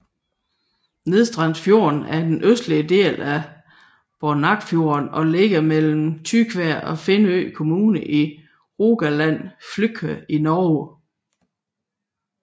Nedstrandsfjorden er den østlige del af Boknafjorden og ligger mellem Tysvær og Finnøy kommune i Rogaland fylke i Norge